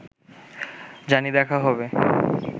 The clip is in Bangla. জানি দেখা হবে